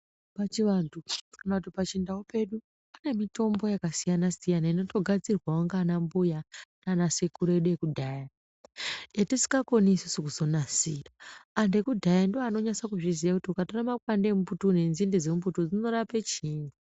Pachivantu kana kuti pachindau pedu pane mitombo yakasiyana-siyana inotogadzirwawo ngaanambuya naanasekuru edu ekudhaya, yetisikakoni isusu kuzonasira. Antu ekudhaya ndiwo anonyasa kuzviziya, kuti ukatora makwande emumbuti uyu nenzinde dzemumbuti uyu zvinorape chiini.